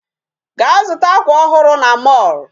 Gaa zụta akwa ọhụrụ na mall.